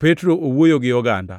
Petro owuoyo gi oganda